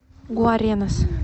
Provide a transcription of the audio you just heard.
гуаренас